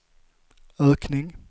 ökning